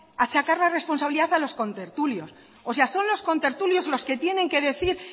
achacar la responsabilidad a los contertulios o sea son los contertulios los que tienen que decir